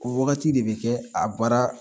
O wagati de bɛ kɛ a baara